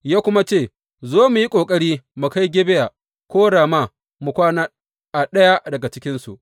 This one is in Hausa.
Ya kuma ce, Zo, mu yi ƙoƙari mu kai Gibeya ko Rama mu kwana a ɗaya cikinsu.